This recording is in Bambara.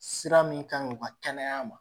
Sira min kan u ka kɛnɛya ma